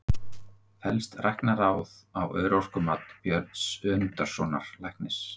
Fellst Læknaráð á örorkumat Björns Önundarsonar læknis?